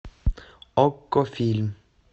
окко фильм